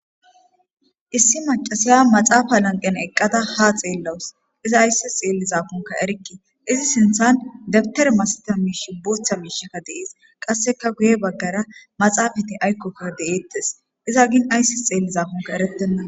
issi macasiya maxaafa lanqen eqqada ha xeellawus iza ayssis xeellizakonka erikki izi sinthan debtere masata miish bootha miishakka dees qasseka guye baggara maxaafati aykkokka de7eettes iza gin ayssis xeellizakonka erettenna